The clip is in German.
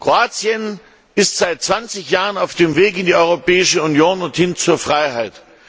Kroatien ist seit 20 Jahren auf dem Weg in die Europäische Union und zur Freiheit.